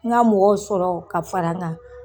Ŋa mɔgɔw sɔrɔ ka fara ŋa